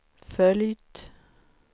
följt